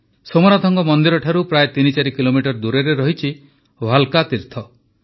ସୋମନାଥ ମନ୍ଦିରଠାରୁ ପ୍ରାୟଃ ତିନି ଚାରି କିଲୋମିଟର ଦୂରରେ ରହିଛି ଭାଲ୍କା ତୀର୍ଥ